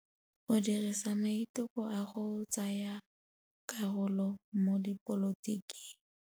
O dirile maitekô a go tsaya karolo mo dipolotiking.